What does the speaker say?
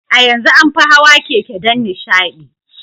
A yanzu an fi an fi hawa keke don nishaɗi.